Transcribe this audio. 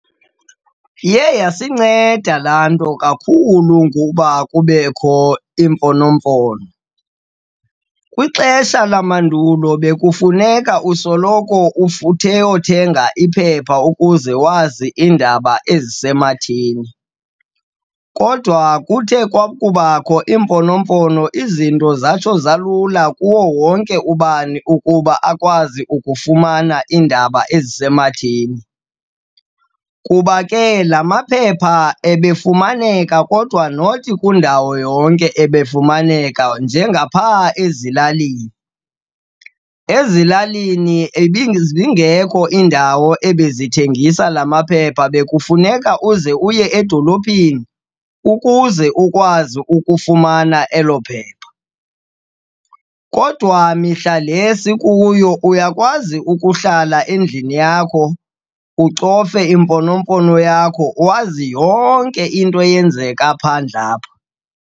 Iye yasinceda laa nto kakhulu ukuba kubekho iimfonomfono. Kwixesha lamandulo bekufuneka usoloko uyothenga iphepha ukuze wazi iindaba ezisematheni, kodwa kuthe kwakubakho iimfonomfono izinto zatsho zalula kuwo wonke ubani ukuba akwazi ukufumana iindaba ezisematheni. Kuba ke la maphepha ebefumaneka kodwa not kwindawo yonke ebefumeka, njengaphaa ezilalini. Ezilalini ibizingekho iindawo ebezithengisa la maphepha, bekufuneka uze uye edolophini ukuze ukwazi ukufumana elo phepha. Kodwa mihla le sikuyo uyakwazi ukuhlala endlini yakho ucofe imfonomfono yakho, wazi yonke into eyenzeka phandle apha.